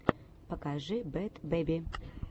покажи бэд бэби